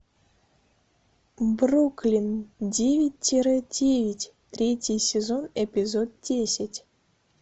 бруклин девять тире девять третий сезон эпизод десять